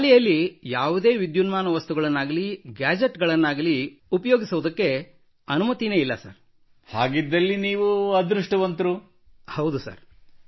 ಇಲ್ಲ ಶಾಲೆಯಲ್ಲಿ ಯಾವುದೇ ವಿದ್ಯುನ್ಮಾನ ವಸ್ತುಗಳನ್ನಾಗಲೀ ಗ್ಯಾಜೆಟ್ ಗಳನ್ನಾಗಲೀ ಉಪಯೋಗಿಸುವುದಕ್ಕೆ ನಮಗೆ ಅನುಮತಿ ಇಲ್ಲ not we are not allowed to use any electronic items or gadgets in the school